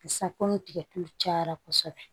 Sisan komi tigɛtulu cayara kosɛbɛ